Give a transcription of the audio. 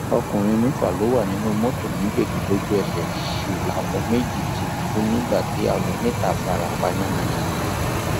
ọkùnrin mẹfà ló wà nínú mọtò méjèèjì lójúẹsẹ sì làwọn méjì ti kú nígbà tí àwọn mẹta fara pa yànnàyànnà